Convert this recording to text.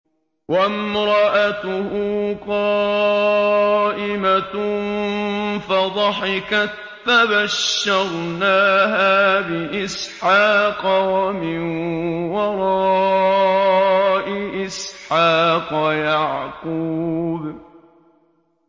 وَامْرَأَتُهُ قَائِمَةٌ فَضَحِكَتْ فَبَشَّرْنَاهَا بِإِسْحَاقَ وَمِن وَرَاءِ إِسْحَاقَ يَعْقُوبَ